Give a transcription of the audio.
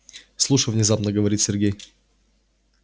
слушай внезапно говорит сергей